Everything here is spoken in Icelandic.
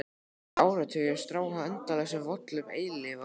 Sjö áratugir: strá á endalausum völlum eilífðarinnar.